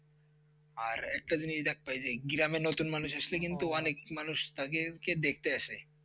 আর একটা জিনিস দেখতে পারছি গ্রামে নতুন মানুষ আসলে কিন্তু অনেক মানুষ তাকে দেখতে আসে